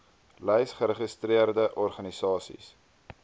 lys geregistreerde organisasies